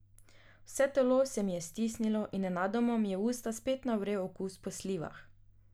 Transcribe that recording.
Vse telo se mi je stisnilo in nenadoma mi je v usta spet navrel okus po slivah.